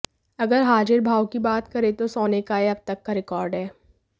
अगर हाजिर भाव की बात करें तो सोने का यह अब तक का रिकॉर्ड है